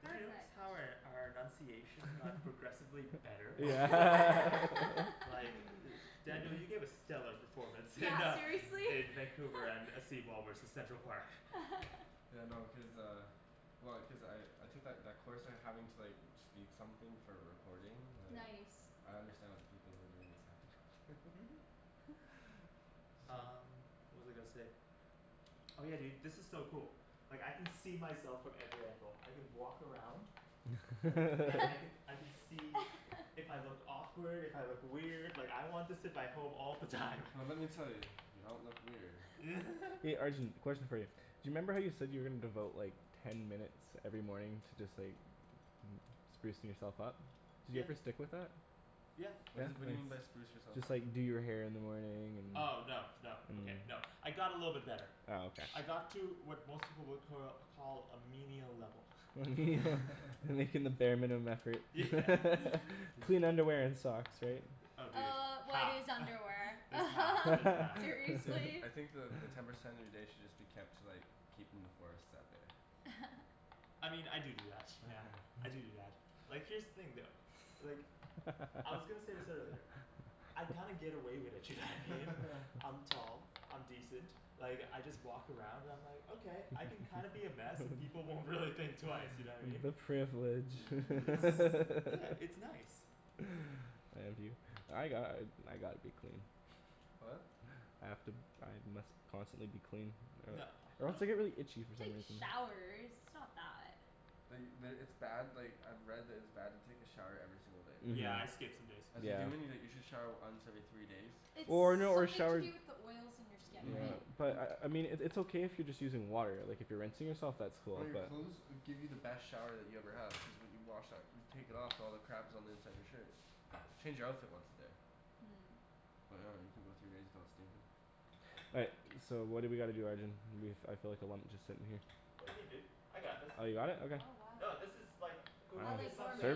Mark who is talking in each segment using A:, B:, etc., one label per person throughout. A: Did you notice
B: Perfect.
A: how our our enunciation got progressively better? Like, Daniel, you gave a stellar performance in
B: Yeah,
A: uh
B: seriously.
A: in Vancouver and uh seawall versus Central Park.
C: Yeah, no cuz uh, well cuz I I took that that course and having to like speak something for a recording like
B: Nice
C: I understand what the people who are doing this have to go through
A: Um, what was I gonna say? Oh yeah, dude, this is so cool. Like I can see myself from every angle, I can walk around. And, I can I can see if I look awkward, if I look weird, like I want this in my home all the time.
C: Well let me tell you, you don't look weird.
D: Arjan, question for you. Do you remember how you said you were gonna devote like ten minutes every morning to just like sprucing yourself up? Did you
A: Yeah
D: ever stick with that?
A: Yeah
C: What is it what do you mean by spruce yourself
D: Just
C: up?
D: like do your hair in the morning and
A: Oh no no okay no I got a little bit better
D: Oh okay
A: I got to what most people would cur call a menial level.
D: Making the bare minimum effort clean underwear and socks, right?
A: Oh dude,
B: Uh what
A: half
B: is underwear
A: just half just half
C: Dude,
B: seriously?
C: I think the the ten percent of your day should just be kept to like keeping the forest out there.
A: I mean, I do do that yeah, I do do that, like here's the thing though. Like, I was gonna say this earlier. I kinda get away with it, you know what I mean? I'm tall, I'm decent, like I just walk around and I'm like, okay I can kinda be a mess and people won't really think twice, you know what I mean?
D: The privilege
A: Yeah, it's nice
D: I envy you I got- I gotta be clean.
C: What?
D: I have to I must constantly be clean
A: No,
D: or else
A: no.
D: I get really itchy for some
B: Take
D: reason.
B: showers, it's not that.
C: The the, it's bad like I've read that it's bad to take a shower every single day.
A: Yeah, I skip some days.
C: As a human you like you should shower once every three days.
D: Or no, or
B: Something to
D: shower
B: do with the oils in your skin,
C: Mhm
B: right?
D: But, I I mean it it's okay if you're just using water like if you're rinsing yourself that's cool
C: Well your
D: but
C: clothes will give you the best shower that you ever had which is what you wash out you take it off all the crap that's on the inside of your shirt. Change your outfit once a day. But I dunno you can go three days without stinkin'.
D: All right, so what do we gotta do, Arjan? I feel like a lump just sittin' here.
A: What do you mean dude, I got this.
D: You got it? Okay.
B: Oh wow
A: No this is like, cooking is something,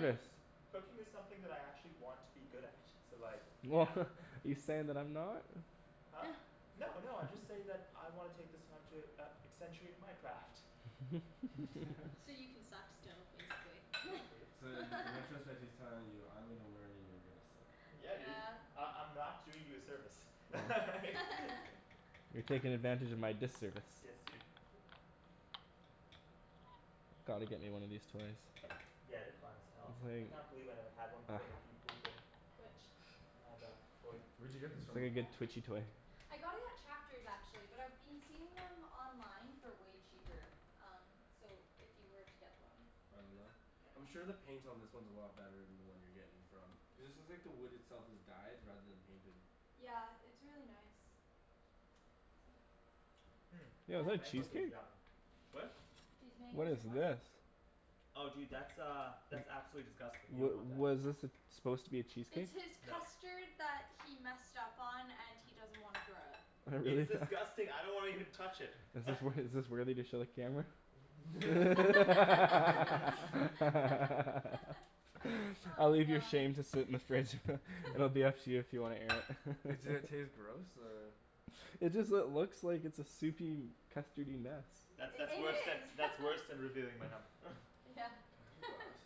A: cooking is something that I actually want to be good at so like, yeah
D: You saying that I'm not?
A: No no I just say that I wanna take this time to uh accentuate my craft.
B: So you can suck still, basically.
C: So then, and I trust that he's telling you I'm gonna learn and you're gonna sit.
A: Yeah dude, I- I'm not doing you a service
D: You're taking advantage of my disservice.
A: Yes, dude.
D: Gotta get me one of these toys.
A: Yeah, they're fine as hell, I
D: It's
A: can't believe I never had one
D: like
A: before Nikki moved in.
B: Which?
A: Uh, that toy.
C: Where'd you get this from?
B: I got it at Chapters actually, but I've been seeing them online for way cheaper, um so if you were to get one
C: I'm sure the paint on this one is a lot better than the one you're getting from, cuz this is like the wood itself is dyed rather than painted.
B: Yeah, it's really nice.
A: Mm,
D: Yo,
A: these
D: is that
A: mangoes are
D: cheesecake?
A: yum. What?
B: These
D: What
B: mangoes
D: is
B: are what?
D: this?
A: Oh dude that's uh, that's absolutely disgusting, you
D: Wha-
A: don't want that.
D: What is this it's supposed to be a
B: It's
D: cheesecake?
B: his custard that he messed up on and he doesn't wanna throw out.
A: It's disgusting, I don't wanna even touch it
D: Is this wor- is this worthy to show the camera? I'll
B: Oh,
D: leave your
B: god
D: shame to sit in the fridge it'll be up to you if you wanna air it.
C: Does it taste gross or
D: It just lo- looks like a soupy, custardy mess.
A: That's that's
B: I- it
A: worse than
B: is
A: that's worse than revealing my num-
B: Yeah,
C: Can I have your glass?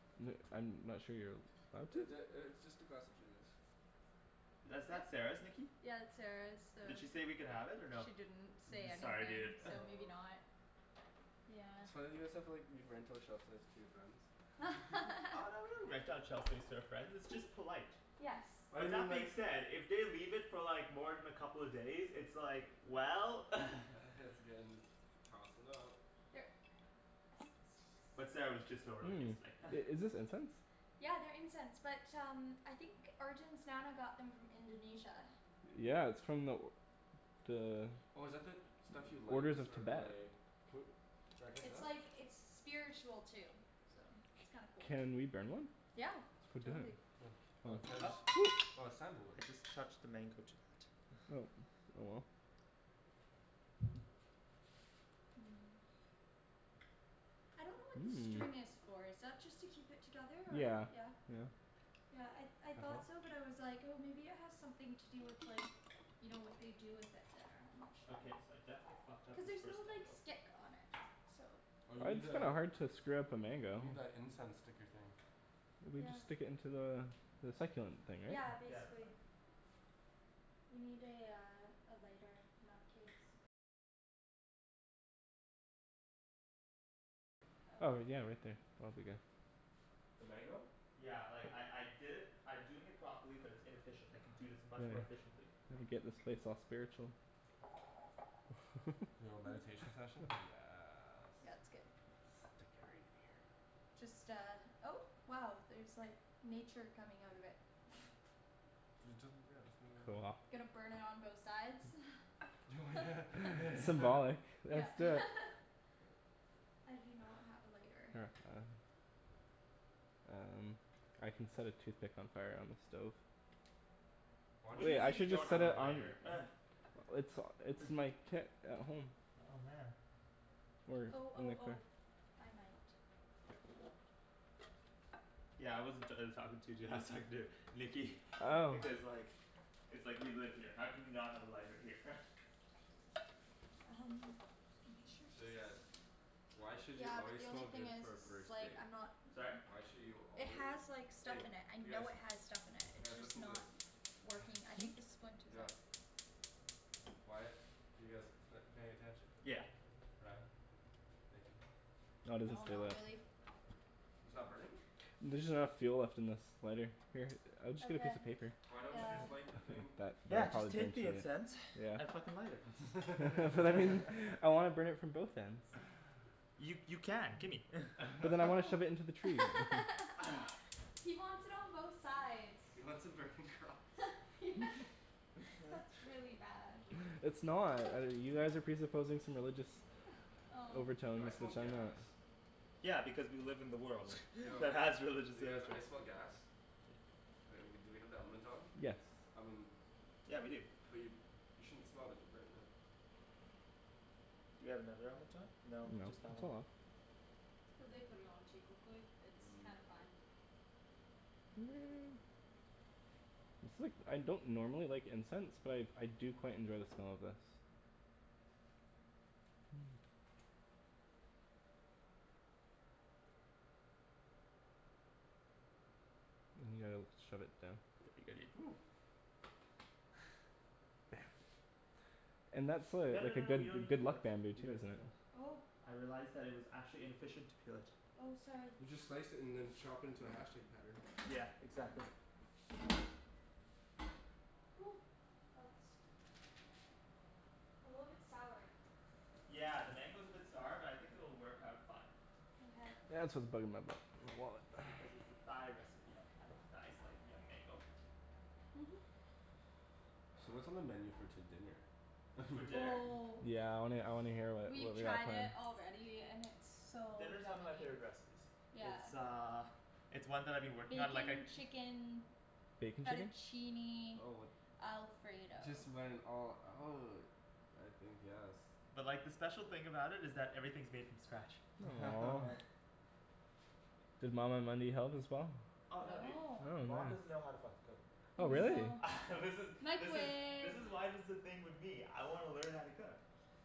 D: I'm not sure here, what?
C: Is it uh it's just a glass of juice.
A: Is that Sarah's, Nikki?
B: Yeah that's Sarah's, so
A: Did she say we could have it or no?
B: She didn't say
A: Sorry
B: anything,
A: dude
B: so maybe not, yeah
C: So why don't you guys have like, you rent out shelf space to your friends?
A: Oh no we don't rent out shelf space to our friends, it's just polite.
B: Yes.
C: Why
A: But
C: didn't you
A: that being
C: like-
A: said, if they leave it for like more than a couple of days it's like, well
C: has to get in this, tossin' out
B: Here.
A: But Sarah was just over like
D: Mm,
A: yesterday
D: i- is this incense?
B: Yeah, they're incense, but um, I think Arjan's nana got them from Indonesia.
D: Yeah, it's from the The
C: Oh is that the, stuff you like
D: orders
C: that's
D: of
C: sort of
D: Tibet
C: like,
B: It's like it's spiritual too, so it's kinda cool.
D: Can we burn one?
B: Yeah,
D: For dinner.
B: totally.
C: Oh Titus, oh it's sandalwood.
A: I just touched the mango jui-
D: Oh, oh well.
B: I don't know what the string is for, is that just to keep it together or?
D: Yeah,
B: Yeah?
D: yeah.
B: Yeah, I I thought so but I was like oh maybe it has something to do with like, you know what they do with it there, I'm not sure.
A: Okay, so I definitely fucked up
B: Cuz
A: this
B: there's
A: first
B: no like
A: mango.
B: stick on it, so
C: Oh you
D: Well
C: need
D: it's kinda
C: the,
D: hard to screw up a mango.
C: you need that incense sticker thing.
D: We just stick into the the succulent thing right?
B: Yeah,
A: Yeah, that's
B: basically.
A: fine.
D: Oh yeah right there, that'll be good.
C: The mango?
A: Yeah, like I I did it I'm doing it properly but it's inefficient, I can do this much
D: Anyway,
A: more efficiently.
D: let me get this place all spiritual.
C: Yo, meditation session, yes.
B: Yeah, that's good. Just uh, oh wow there's like nature coming out of it
C: It doesn't,
D: Go off
C: yeah,
B: Gonna burn it on both sides Yeah
D: That's it
B: I do not have a lighter.
D: Um, I can set a toothpick on fire on the stove.
C: Why
A: What
C: don't
A: do you
D: Wait,
C: you
D: I
A: mean
C: just
A: you
D: should just
A: don't
D: set
A: have a
D: it on
A: lighter?
D: It's it's in my kit at home.
A: Oh man.
D: Or, I
B: Oh
D: don't
B: oh
D: really care
B: oh, I might.
A: Yeah I wasn't talking to you dude I was talking to Nikki because like It's like we live here, how can we not have a lighter here?
B: Um I'm not sure.
C: So yeah, why should you
B: Yeah but
C: always
B: the
C: smell
B: only thing
C: good
B: is
C: for a first
B: it's like
C: date?
B: I'm not
A: Sorry?
C: Why should you
B: It
C: always,
B: has like stuff
C: hey
B: in it, I
C: you guys,
B: know it has stuff in it. It's
C: guys
B: just
C: listen to this
B: not working. I think this one too is out.
C: Why- you guys p- paying attention?
A: Yeah.
C: Ryan? Thank you.
D: No it doesn't
B: No,
D: stay
B: not
D: lit.
B: really
C: It's not burning?
D: There's just not enough fuel left in this lighter. Here, I'll just get a
B: Okay,
D: piece of paper.
C: Why don't you
B: uh
C: just light the thing?
A: Yeah, just take the incense and fucking light it.
D: I wanna burn it from both ends.
A: You you can, gimme
D: But then I wanna shove it into the tree
B: He wants it on both sides.
C: He wants a burning cross.
B: That's really bad.
D: It's not, uh you guys are presupposing some religious overtone
C: Yo I smell gas.
A: Yeah because we live in the world that has religious
C: You guys,
A: rituals.
C: I smell gas. Uh we do we have the element on? I mean - but you you shouldn't smell if you're burning it.
A: Do we have another element on?
D: No,
A: No, just
D: it's
A: that one.
D: not on.
B: Cuz they put it on too quickly, it's kinda fine.
D: It's like I don't normally like incense but I I do quite enjoy the smell of this. Yeah, shove it down
A: No no no no we don't need to peel that, we don't need to peel that.
B: Oh
A: I realized that it was actually inefficient to peel it.
B: Oh, sorry.
C: You just slice it and then chop it into a hashtag pattern.
A: Yeah, exactly.
B: Ooh, that's A little bit sour.
A: Yeah, the mango's a bit sour but I think it'll work out fine.
B: Mkay
D: Yeah, it's for the bug in my butt, my wallet
A: Because it's a Thai recipe and Thais like young mango.
B: Mhm
C: So what's on the menu for to- dinner?
A: For dinner?
B: Oh
D: Yeah I wanna I wanna hear wha- what
B: We've
D: we got
B: tried it
D: planned.
B: already and it's so
A: Dinner's one
B: yummy.
A: of my favorite recipes.
B: Yeah
A: It's uh it's one that I've been working on like I
B: Bacon chicken
D: Bacon chicken?
B: fettuccine alfredo
C: Just went all out. I think yes.
A: But like the special thing about it is that everything's made from scratch.
D: Does mama help as well?
A: Oh no dude,
B: No.
D: Oh man.
A: mom doesn't know how to fucking cook.
D: Oh
B: Oh
A: This
D: really?
B: no.
A: This is this is this
B: Microwave
A: is why there's this thing with me. I wanna learn how to cook.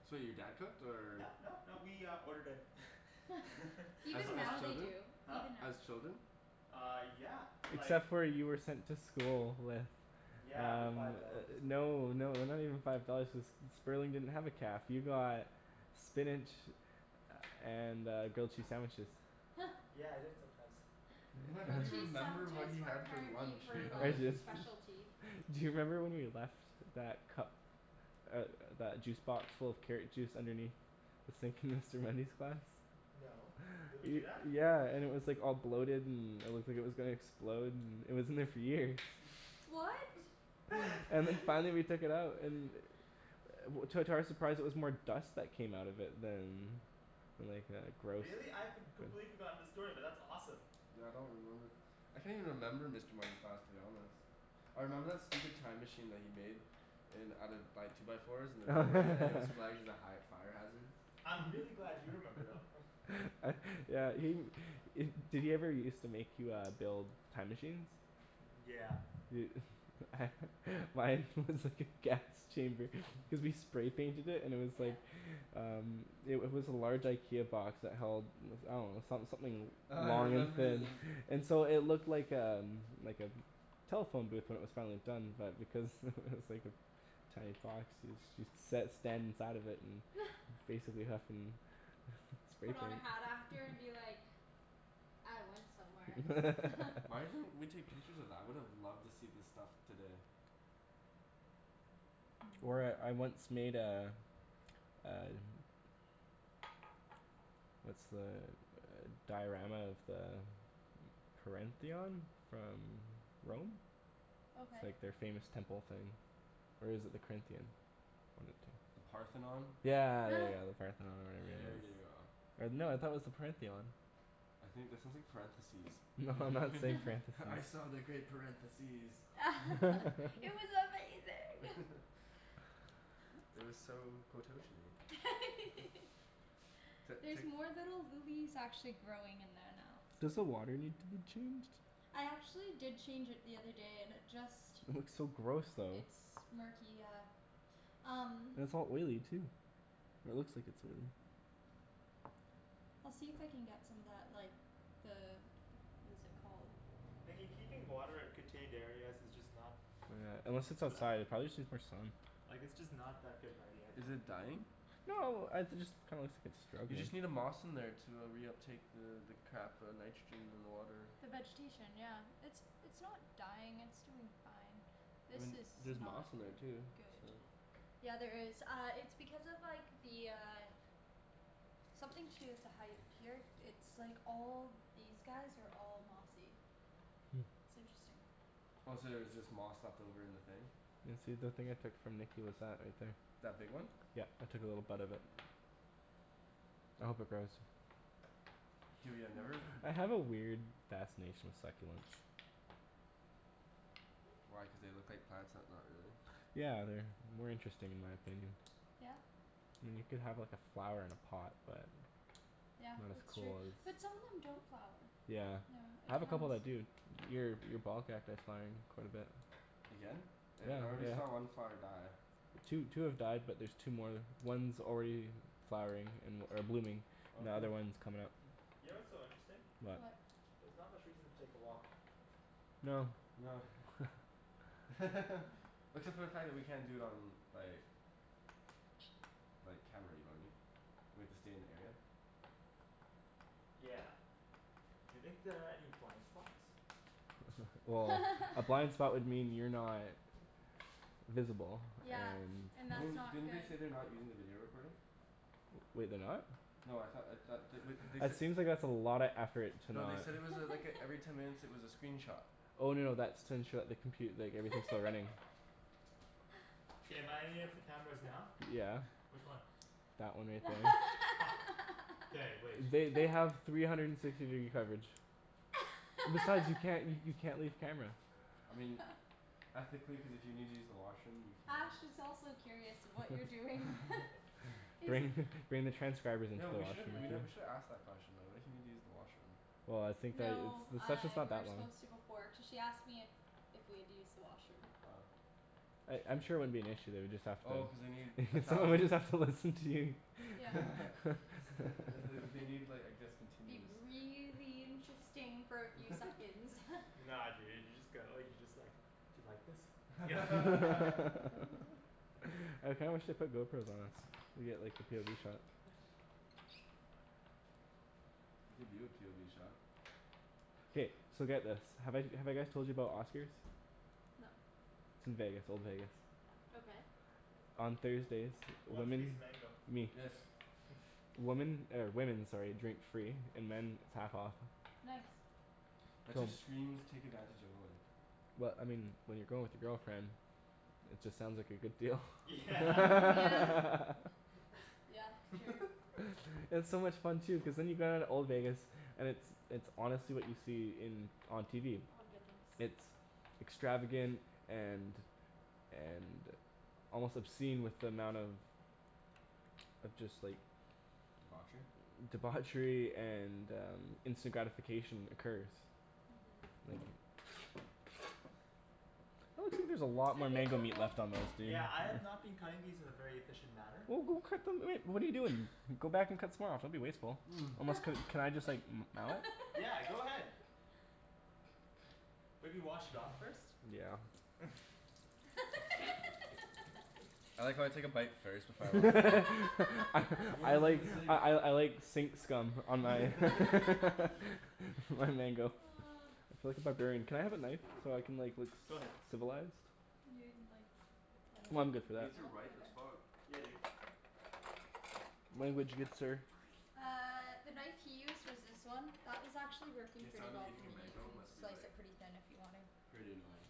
C: So your dad cooked or
A: No, no, no, we uh ordered in
C: As
A: a
B: Even
C: as
B: now
A: lot
B: they
C: children?
B: do,
A: Huh?
B: even now.
C: As children?
A: Uh, yeah, like
D: Except for you were sent to school with
A: Yeah, but
D: Um,
A: five dollars, it's like
D: no no they're not even five dollars cuz Sperling didn't have a caf, you got spinach and uh grilled cheese sandwiches.
A: Yeah, I did sometimes.
B: Grilled
C: You
B: cheese
C: remember what
B: sandwiches
C: he
B: were
C: had for
B: apparently
C: lunch in
B: her
D: I
B: like
C: elementary
D: just
C: school.
B: specialty.
D: Do you remember when we left that cup, uh that juice box full of carrot juice underneath the sink in Mr. Mundy's class?
A: No, did we do that?
D: Yeah, and it was like all bloated and it looked like it was gonna explode and it was in there for years.
B: What?
D: And then finally we took it out and To- to our surprise it was more dust that came out of it than than like uh gross
A: Really? I've com- completely forgotten the story, but that's awesome.
C: Yeah I don't remember. I can't even remember Mr. Mundy's class to be honest. I remember that stupid time machine that he made. In out of by two by fours in the doorway and it was flagged as a high fire hazard.
A: I'm really glad you remember though
D: uh yeah he- did he ever used to make you uh build time machines?
A: Yeah.
D: Dude mine was just like a gas chamber cuz we spray painted it and it was like
B: Yeah
D: Um, it wa- was a large IKEA box that held I dunno, some- something
C: Oh, I
D: long and
C: remember
D: thin
C: the
D: and so it looked like um, like a telephone booth when it was finally done but because it was like this tiny box so- so you sat or stand inside of it and basically huffin' spray
B: Put on a hat after
D: paint
B: and be like "I went somewhere"
C: Why didn't we take pictures of that? I would've loved to see the stuff today.
D: Or I- I once made a uh What's the uh diorama of the Parentheon? From Rome?
B: Okay
D: Like their famous temple thing. Or is it the Corinthian? One of the
C: The
D: two.
C: Parthenon?
D: Yeah yeah yeah yeah, the Parthenon or whatever
C: There you
D: it
C: go.
D: was. Or no, I thought it was the "Parentheon".
C: I think that sounds like parentheses.
D: No I'm not saying parentheses.
C: "I saw the great parentheses."
B: It was amazing
C: It was so quototion-y it's li- it's
B: There's
C: like
B: more little lilies actually growing in there now.
D: Does the water need to be changed?
B: I actually did change it the other day and it just
D: It looks so gross though.
B: It's murky, yeah. Um
D: And it's all oily too. Or it looks like it's oily.
B: I'll see if I can get some of that like the What is it called?
A: Nikki keeping water in contained areas is just not
D: Yeah, unless it's outside, it prolly just needs more sun.
A: Like it's just not that good of an idea, I
C: Is
A: think.
C: it dying?
D: No, I- it just kinda looks like it's
C: You
D: struggling.
C: just need a moss in there to uh reuptake the the crap uh nitrogen in the water.
B: The vegetation yeah, it's it's not dying it's doing fine.
C: I
B: This
C: mean, there's
B: is not
C: moss in there too,
B: good.
C: so
B: Yeah, there is, uh it's because of like the uh Something to do with the height here, it's like all these guys are all mossy. It's interesting.
C: Oh so there's just moss left over in the thing?
D: Yeah, see that thing I took from Nikki was that right there.
C: That big one?
D: Yeah, I took a little bud off it. I hope it grows.
C: Dude, yeah, I never
D: I have a weird fascination with succulents.
C: Why, cuz they look like plants but not really?
D: Yeah, they're more interesting in my opinion.
B: Yeah?
D: I mean, you can have like a flower in a pot, but
B: Yeah,
D: Not as
B: that's true,
D: cool as
B: but some of them don't flower.
D: Yeah,
B: Yeah, it
D: I have a couple
B: depends.
D: that do. Your- your ball cacti is flowering quite a bit
C: Again?
D: Yeah,
C: I already saw
D: yeah.
C: one flower die.
D: Two two have died but there's two more. One's already flowering an- or blooming.
C: Oh
D: The
C: cool.
D: other one's comin' up.
A: You know what's so interesting?
B: What?
A: There's not much reason to take a walk.
D: No.
C: No except for the fact that we can't do it on like like, camera, you know what I mean? We have to stay in the area.
A: Yeah. You think there are any blind spots?
D: Well, a blind spot would mean you're not visible,
B: Yeah,
D: and
B: and
C: I
B: that's
C: mean,
B: not
C: didn't they say
B: good.
C: they're not using the video recording?
D: Wait, they're not?
C: No, I thought I thought they wou- they
D: That
C: said
D: seems like it's a lotta effort to
C: No,
D: not
C: they said it was a like a every ten minutes it was a screenshot.
D: Oh no no that's to ensure the compu- like everything's still running.
A: K, am I on any of the cameras now?
D: Yeah.
A: Which one?
D: That one right there.
A: Fuck. K, wait.
D: They they have three hundred and sixty degree coverage. Besides you can't you you can't leave camera.
C: I mean ethically, cuz if you need to use the washroom you
B: Ash
C: can.
B: is also curious of what you're doing
D: Bring
B: He's-
D: bring the transcribers into
C: Yo,
D: the
C: we should've
D: washroom
C: we
D: with
C: nev-
D: you.
C: we should've asked the question though. What if you need to use the washroom?
D: Well I think that it's
B: No,
D: the
B: uh
D: session's not
B: we were
D: that long.
B: supposed to before cuz she asked me if if we had used the washroom.
C: Oh.
D: I- I'm sure it wouldn't be an issue, they would just have to
C: Oh cuz they need a thousand
D: Somebody's have to listen to you
B: Yeah
C: they wou- they need like I guess
B: It'd
C: continuous
B: be really interesting for a few seconds
A: Nah dude, you just go like, you just like, "do you like this?"
D: I kinda wish they put GoPros on us. We'd get like the POV shot.
C: I'll give you a POV shot.
D: K, so get this. Have I- have I guys told you about Oscar's?
B: No.
D: It's in Vegas, old Vegas.
B: Okay.
D: On Thursdays,
A: Who wants a piece of
D: women
A: mango?
D: Me.
C: Yes.
D: Woman, or women, sorry, drink free and men half off.
B: Nice.
C: That just screams take advantage of women.
D: Well, I mean, when you're going with your girlfriend, it just sounds like a good deal
A: Yeah
B: Mm, yeah. Yeah, true.
D: It's so much fun too, cuz then you get out of old Vegas. And it's it's honestly what you see in on TV.
B: Oh I'm good, thanks.
D: It's extravagant and and, almost obscene with the amount of of just like
C: Debauchery?
D: Debauchery and instant gratification occurs. That looks like there's a lot
B: I
D: more
B: think
D: mango
B: the
D: meat
B: old
D: left on those, dude.
A: Yeah, I have not been cutting these in a very efficient manner.
D: Well, go cut them, I mean, what are you doing? Go back and cut some more off, don't be wasteful. Almost can, can I just gnaw?
A: Yeah, go ahead. Maybe wash it off first.
D: Yeah
C: I like how I take a bite first before I wash it.
D: I
C: What
D: I
C: was in
D: like
C: the sink?
D: I I I like sink scum on my my mango like a barbarian. Can I have a knife? So I can like look
A: Go ahead.
D: civilized?
B: You didn't like I dunno.
D: I'm good for that.
C: These are
B: No?
C: ripe
B: Okay
C: as fuck.
A: Yeah dude.
D: Language, good sir.
B: Uh the knife he used was this one. That was actually working
C: The
B: pretty
C: sound of
B: well for
C: eating a
B: me, you
C: mango
B: can
C: must be
B: slice
C: like,
B: it pretty thin if you want to
C: pretty annoying.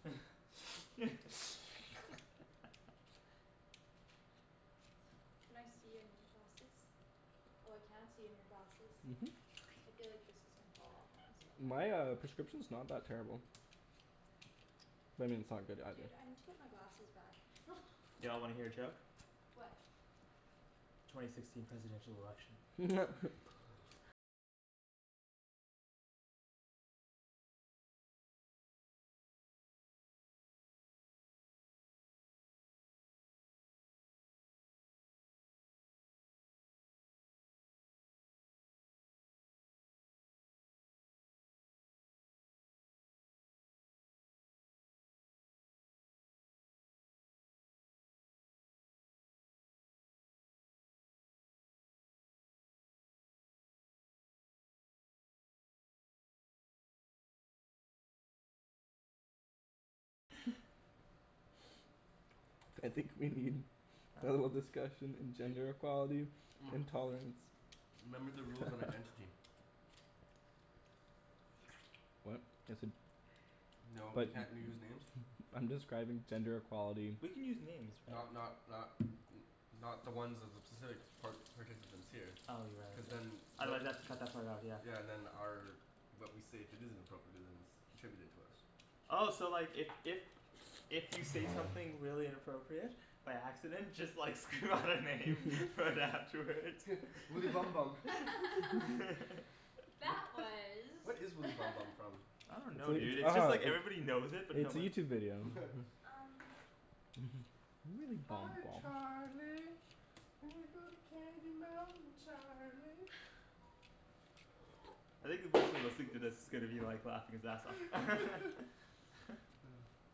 B: Can I see in your glasses? Oh I can't see in your glasses. I feel like this is gonna fall off or
D: My uh prescription's not that terrible. I mean it's not good either.
B: Dude, I need to get my glasses back
A: Y'all wanna hear a joke?
B: What?
A: Twenty sixteen presidential election.
D: I think we need a little discussion in gender equality and tolerance.
C: Remember the rules on identity.
D: What? Just said
C: No, you
D: But
C: can't use names.
D: I'm describing gender equality.
A: We can use names, right?
C: Not not not n- not the ones of the specific par- participants here.
A: Oh, you're right
C: Cuz
A: ye-
C: then
A: otherwise they'll have to cut that part out, yeah.
C: Yeah, and then our but we say if it isn't appropriate it isn't attributed to us.
A: Oh so like if if If you say something really inappropriate by accident just like scream out a name right afterwards
C: Woody Bum Bum Wha-
B: That was
C: what is Woody Bum Bum from?
A: I don't know dude, it's just like everybody knows it
D: But
A: but no
D: it's a
A: one
D: YouTube video.
B: Um
C: Hi Charlie, we go to Candy Mountain Charlie.
A: I think the person listening to
B: Oops
A: this is gonna be like laughing his ass off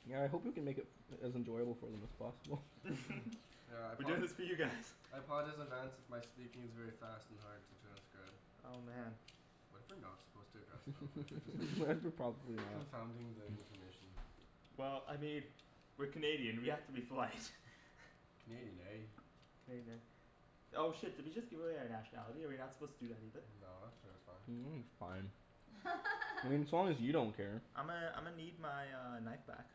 D: Yeah, I hope we can make it as enjoyable for them as possible.
C: Yeah, I
A: We're
C: apo-
A: doing this for you guys.
C: I apologize in advance if my speaking is very fast and hard to transcribe.
A: Oh man
C: What if we're not supposed to address them? What if we're just thinking confounding the information.
A: Well, I mean, we're Canadian, we have to be polite.
C: Canadian, eh?
A: Canadian, eh? Oh shit, did we just give away our nationality? Are we not supposed to do that either?
C: No, I'm sure it's fine.
D: It's fine. I mean as long as you don't care.
A: I'ma I'ma need my uh knife back.